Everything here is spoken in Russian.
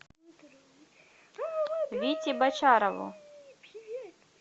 вите бочарову